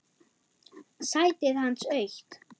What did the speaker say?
Sætið hans autt.